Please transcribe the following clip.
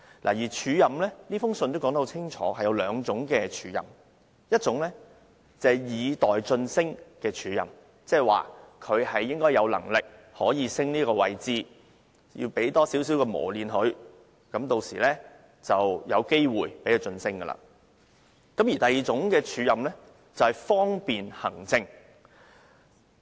他在信中清楚說明署任分為兩種：一種是以待晉升的署任，意即有關人員有能力晉升，安排署任是要給予磨練，一旦機會出現便會獲晉升；另一種署任則是方便行政。